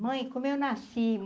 Mãe, como eu nasci?